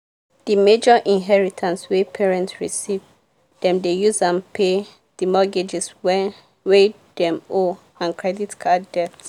the major inheritance wey parents receive dem dey use am pay the mortgages wen wey dem owe and credit card debts.